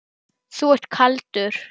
Þú ert kaldur!